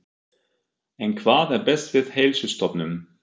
En hvað er best við Heilsustofnun?